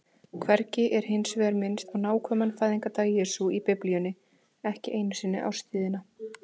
Hvergi er hins vegar minnst á nákvæman fæðingardag Jesú í Biblíunni, ekki einu sinni árstíðina.